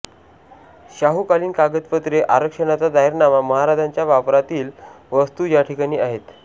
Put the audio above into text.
शाहूकालिन कागदपत्रे आरक्षणाचा जाहीरनामा महाराजांच्या वापरातील वस्तू याठिकाणी आहेत